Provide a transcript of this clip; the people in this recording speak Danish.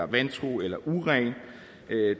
vantro eller uren det